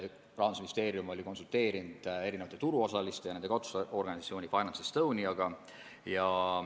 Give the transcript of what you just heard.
Rahandusministeerium oli konsulteerinud erinevate turuosaliste ja nende katusorganisatsiooni FinanceEstoniaga.